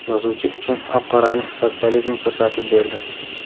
yozuvchi uchun oq-qorani sotsializm ko‘rsatib berdi.